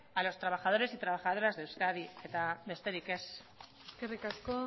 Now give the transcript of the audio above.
a los trabajadores y trabajadoras de euskadi eta besterik ez eskerrik asko